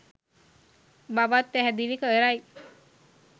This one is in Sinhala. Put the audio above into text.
බවත් පැහැදිලි කරයි.